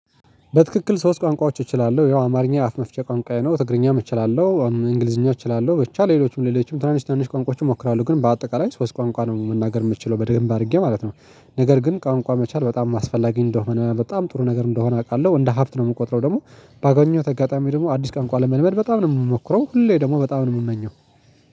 በትክክል ሶስት ቋንቋዎች እችላለሁ ያው አማርኛ አፍ መፍቸ ቋንቋዬ ነው ትግርኛም እችላለሁ እንግሊዝኛ እችላለሁ ብቻ ሌሎችም ሌሎችም ትናንሽ ትንሽ ቋንቋዎችን እሞክራለሁ ግን በአጠቃላይ ሶስት ቋንቋ ነው መናገር የምትችለው በደምብ አድርጌ ማለት ነው። ነገር ግን ቋንቋ መቻል በጣም አስፈላጊ እንደሆነ በጣም ጥሩ ነገር እንደሆነ አውቃለሁ እንደ ሀብት ነው የምቆጥረው ደግሞ ባገኘውት አጋጣሚ ደግሞ አዲስ ቋንቋ ለመልመድ በጣም ነው የምሞክረው። ሁሌ ደግሞ በጣም ነው የምመኘው።